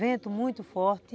Vento muito forte.